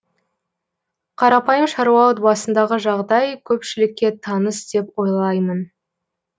қарапайым шаруа отбасындағы жағдай көпшілікке таныс деп ойлаймын